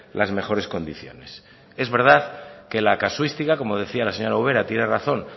las mejores condiciones es verdad que la casuística como decía la señora ubera tiene razón